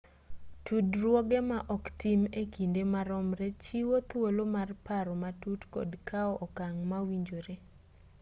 tudruoge ma oktim e kinde maromre chiwo thuolo mar paro matut kod kao okang' mowinjore